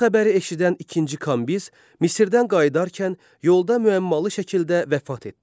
Bu xəbəri eşidən ikinci Kambiz Misirdən qayıdarkən yolda müəmmalı şəkildə vəfat etdi.